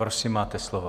Prosím, máte slovo.